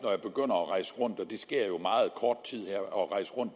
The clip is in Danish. rundt og det sker jo om meget kort tid og